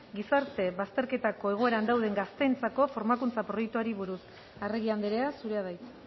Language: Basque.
gizarte bazterketako egoeran dauden gazteentzako formakuntza proiektuari buruz arregi andrea zurea da hitza